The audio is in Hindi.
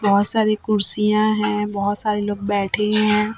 बहोत सारी कुर्सियां है बहोत सारे लोग बैठे हैं।